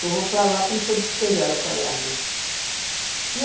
Só vou para lá quando for despejada para lá mesmo.